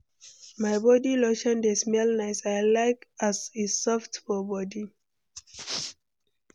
My body lotion dey smell nice; I like as e soft for body.